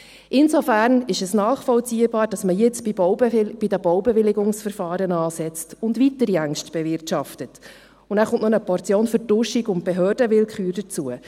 Insofern ist es nachvollziehbar, dass man jetzt bei den Baubewilligungsverfahren ansetzt und weitere Ängste bewirtschaftet, und nachher kommt noch eine Portion Vertuschung und Behördenwillkür dazu.